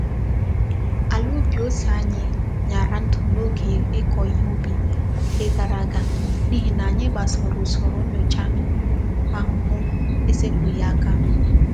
Ala ubi ose anyi nyara ndu n'oge iko ihe ubi nke gara aga n'ihi na anyi gbasoro usoro nyocha ahuhu esepughi aka.